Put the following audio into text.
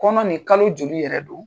Kɔnɔ nin kalo joli yɛrɛ don.